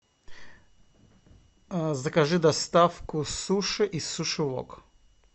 закажи доставку суши из суши вок